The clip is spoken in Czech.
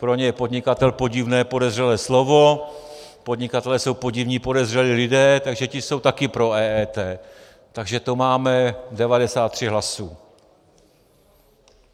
Pro ně je podnikatel podivné podezřelé slovo, podnikatelé jsou podivní podezřelí lidé, takže ti jsou taky pro EET, takže to máme 93 hlasů.